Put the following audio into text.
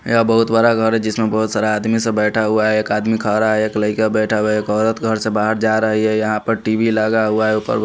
यह बहुत बड़ा घर है जिसमें बहुत सारा आदमी सब बैठा हुआ है एक आदमी खा रहा है एक लड़का बैठा हुआ है एक औरत घर से बाहर जा रही है यहां पर टी_वी लगा हुआ है।